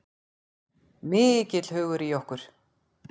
Mikill hugur í okkur